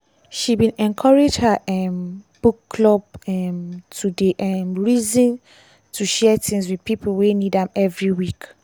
she bin encourage her um book club um to dey um reason to share things with pipo wey need am every week.